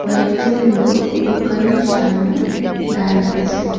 কয়েকজন লোক দোকনে সামনে দাঁড়িয়ে আছে।